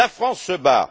La France se bat.